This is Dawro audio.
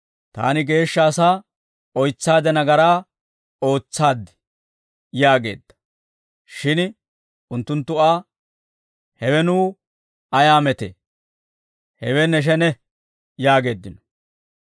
«Taani geeshsha asaa oytsaade nagaraa ootsaad» yaageedda. Shin unttunttu Aa, «Hewe nuw ayaa metee? Hewe ne shene» yaageeddino.